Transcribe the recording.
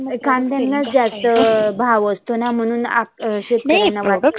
कांद्यांलाच जास्त भाव आसतोना म्हणून अ म्हणून शेतकऱ्या वाटतो.